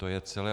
To je celé.